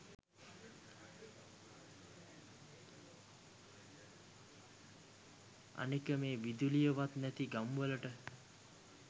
අනෙක මේ විදුලියවත් නැති ගම් වලට